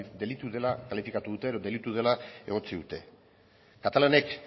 delitu dela kalifikatu dute delitu dela egotzi dute katalanek